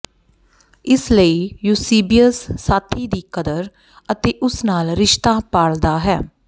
ਇਸੇ ਲਈ ਯੂਸੀਬੀਅਸ ਸਾਥੀ ਦੀ ਕਦਰ ਅਤੇ ਉਸ ਨਾਲ ਰਿਸ਼ਤਾ ਪਾਲਦਾ ਹੈ